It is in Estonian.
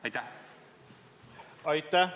Aitäh!